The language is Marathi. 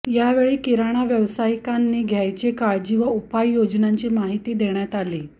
यावेळी किराणा व्यावसायिकांनी घ्यायची काळजी व उपाययोजनांची माहिती देण्यात आली